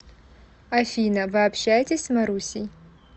афина вы общаетесь с марусей